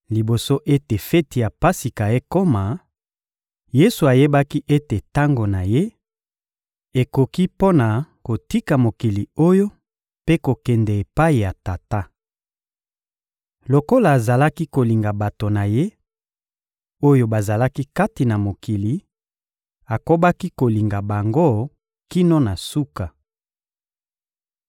Liboso ete feti ya Pasika ekoma, Yesu ayebaki ete tango na Ye ekoki mpo na kotika mokili oyo mpe kokende epai ya Tata. Lokola azalaki kolinga bato na Ye, oyo bazalaki kati na mokili, akobaki kolinga bango kino na suka.